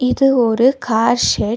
இது ஒரு car shed .